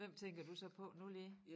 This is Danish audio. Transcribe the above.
Hvem tænker du så på nu lige?